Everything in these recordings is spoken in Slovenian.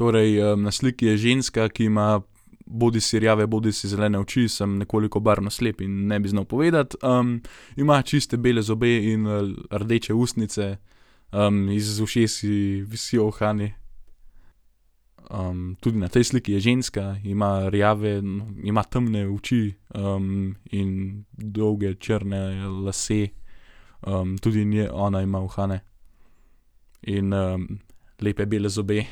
Torej, na sliki je ženska, ki ima bodisi rjave bodisi zelene oči, sem nekoliko barvno slep in ne bi znal povedati. ima čiste bele zobe in, rdeče ustnice. iz ušes ji visijo uhani. tudi na tej sliki je ženska. Ima rjave, ima temne oči, in dolge črne lase. tudi ona ima uhane in, lepe bele zobe.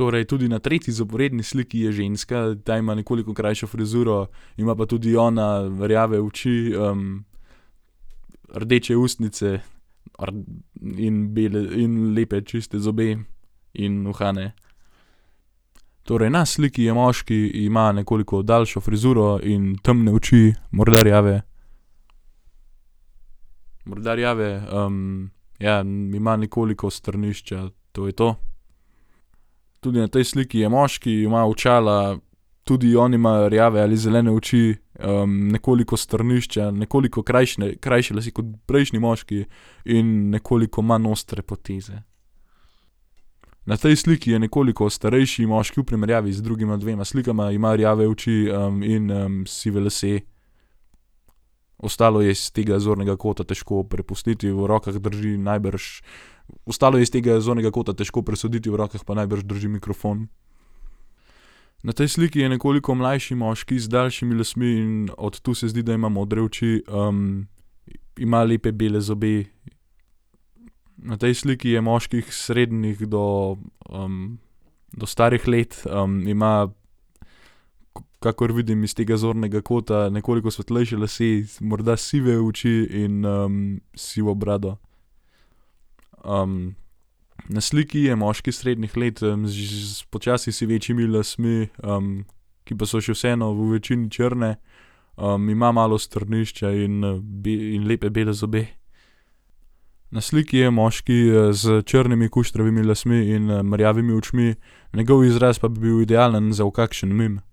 Torej, tudi na tretji zaporedni sliki je ženska. Ta ima nekoliko krajšo frizuro, ima pa tudi ona rjave oči, rdeče ustnice, in in lepe čiste zobe in uhane. Torej, na sliki je moški. Ima nekoliko daljšo frizuro in temne oči, morda rjave. Morda rjave. ja, ima nekoliko strnišča, to je to. Tudi na tej sliki je moški. Ima očala. Tudi on ima rjave ali zelene oči, nekoliko strnišča, nekoliko krajši krajše lase kot prejšnji moški in nekoliko manj ostre poteze. Na tej sliki je nekoliko starejši moški v primerjavi z drugima dvema slikama. Ima rjave oči, in, sive lase. Ostalo je iz tega zornega kota težko prepustiti, v rokah drži najbrž ... Ostalo je iz tega zornega kota težko presoditi, v rokah pa najbrž drži mikrofon. Na tej sliki je nekoliko mlajši moški z daljšimi lasmi in od tu se zdi, da ima modre oči. ima lepe bele zobe. Na tej sliki je moški srednjih do, do starih let. ima, kakor vidim iz tega zornega kota, nekoliko svetlejše lase, morda sive oči in, sivo brado. na sliki je moški srednjih let z že počasi sivečimi lasmi, ki pa so še vseeno v večini črne. ima malo strnišča in, in lepe bele zobe. Na sliki je moški, s črnimi kuštravimi lasmi in, rjavimi očmi, njegov izraz pa bi bil idealen za v kakšen meme.